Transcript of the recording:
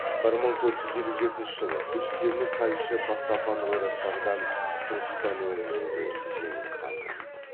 бір мың төрт жүз елу жетінші жылы үз темір тайшы бастапан ойраттардан түркістан өңірінде жеңіліп қалды